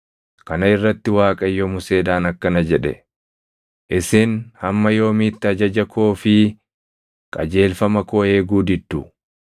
Kana irratti Waaqayyo Museedhaan akkana jedhe; “Isin hamma yoomiitti ajaja koo fi qajeelfama koo eeguu diddu?